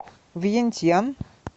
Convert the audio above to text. вьентьян